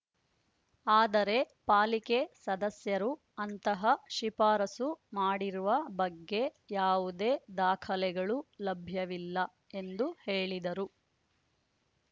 ಆದರೆ ಪಾಲಿಕೆ ಸದಸ್ಯರು ಅಂತಹ ಶಿಫಾರಸು ಮಾಡಿರುವ ಬಗ್ಗೆ ಯಾವುದೇ ದಾಖಲೆಗಳು ಲಭ್ಯವಿಲ್ಲ ಎಂದು ಹೇಳಿದರು